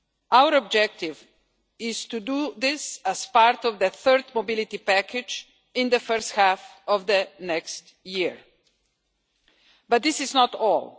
Our objective is to do this as part of the third mobility package in the first half of next year, but this is not all.